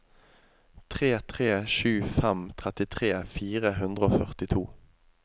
tre tre sju fem trettitre fire hundre og førtito